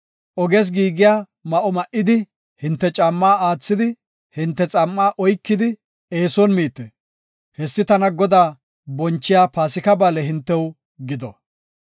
Oges giigiya ma7o ma7idi, hinte caammaa aathidi, hinte xam7aa oykidi eeson miite. Hessi tana Godaa bonchiya Paasika ba7aale hintew gido.